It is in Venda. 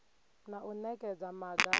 na u nekedza maga a